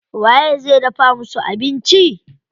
Waye zai dafa musu abinci?